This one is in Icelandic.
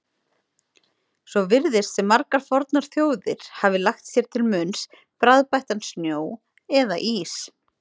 Svo virðist sem margar fornar þjóðir hafi lagt sér til munns bragðbættan snjó eða ís.